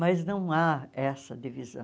Mas não há essa divisão.